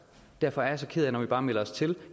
derfor er jeg så ked af når vi bare melder os til